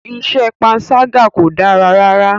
Iṣẹ́ panṣágà kò dára rárá.